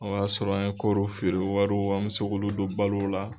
O y'a sɔrɔ an ye kɔɔriw feere o wariw an mɛ se k'olu don balo la.